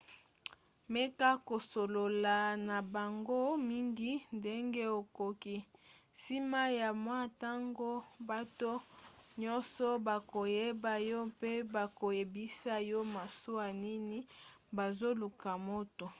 meka kosolola na bango mingi ndenge okoki. nsima ya mwa ntango bato nyonso bakoyeba yo mpe bakoyebisa yo masuwa nini bazoluka moto